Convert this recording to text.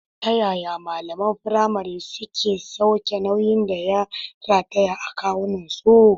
Ta yaya malaman firamare suke sauke nauyin da ya rataya a wuyansu?